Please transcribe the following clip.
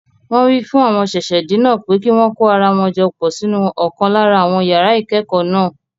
Wọn wí fún àwọn ṣẹ̀ṣẹ̀-dé náà pé kí wọn kó ara jọ pọ̀ sínú ọ̀kan lára àwọn yàrá ìkẹ́kọ̀ọ́ náà.